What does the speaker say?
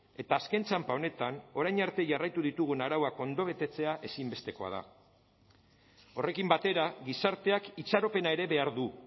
eta azken txanpa honetan orain arte jarraitu ditugun arauak ondo betetzea ezinbestekoa da horrekin batera gizarteak itxaropena ere behar du